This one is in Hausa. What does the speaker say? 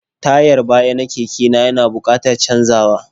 Tayar bayana keke na ya na buƙatar canzawa.